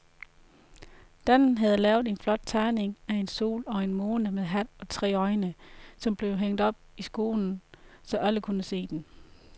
Dan havde lavet en flot tegning af en sol og en måne med hat og tre øjne, som blev hængt op i skolen, så alle kunne se den.